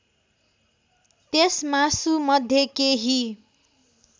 त्यस मासुमध्ये केही